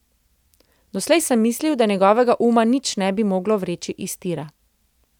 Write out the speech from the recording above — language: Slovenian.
Doslej sem mislil, da njegovega uma nič ne bi moglo vreči iz tira.